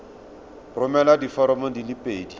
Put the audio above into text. romela diforomo di le pedi